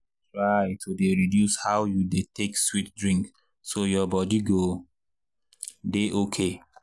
try to dey reduce how you dey take sweet drink so your body go dey okay.